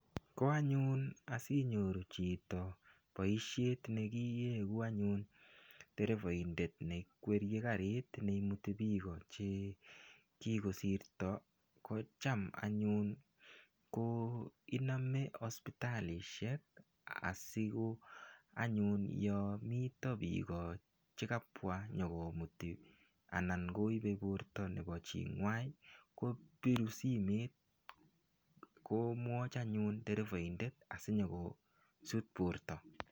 Ko anyun asinyoru chito boishet nekieku anyun derevoindet neikweriei karit neimuti biko chekikosirto ko cham anyun ko inome hospitalishek asi ko anyun yo mito biko chekapwa nyikomuti anan koipei borto nebo ching'wai kopiru simet komwoch anyun derevoindet asinyikosut borto